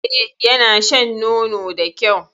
E, yana shan nono da kyau.